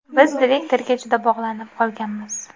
Biz direktorga juda bog‘lanib qolganmiz.